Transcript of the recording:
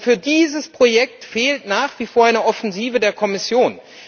Für dieses Projekt fehlt nach wie vor eine Offensive der Kommission.